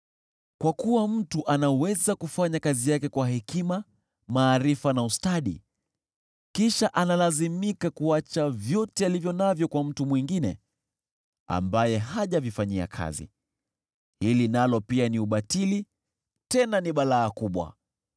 Kwa kuwa mtu anaweza kufanya kazi yake kwa hekima, maarifa na ustadi, kisha analazimika kuacha vyote alivyo navyo kwa mtu mwingine ambaye hajavifanyia kazi. Hili nalo pia ni ubatili tena ni balaa kubwa.